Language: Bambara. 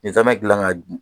Nin nsaamɛ dilan ka